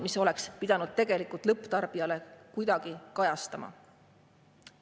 Need oleks pidanud tegelikult lõpptarbijale kuidagi kajastuma.